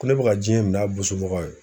Ko ne bɛ ka diɲɛ min'a bosobagaw ye